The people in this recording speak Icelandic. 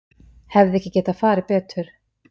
Hefði ekki getað farið betur